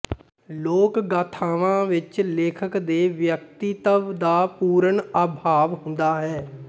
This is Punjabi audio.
ਲੋਕ ਗਾਥਾਵਾਂ ਵਿਚ ਲੇਖਕ ਦੇ ਵਿਅਕਤਿਤਵ ਦਾ ਪੂਰਨ ਅਭਾਵ ਹੁੰਦਾ ਹੈ